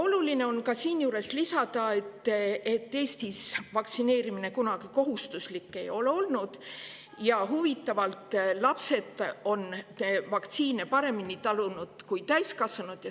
Oluline on siinjuures lisada, et Eestis ei ole vaktsineerimine kunagi kohustuslik olnud ja huvitaval kombel on lapsed vaktsiine paremini talunud kui täiskasvanud.